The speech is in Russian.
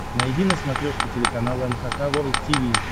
найди на смотрешке телеканал эн эйч кей волд ти ви